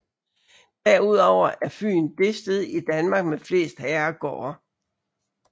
Derudover er Fyn det sted i Danmark med flest herregårde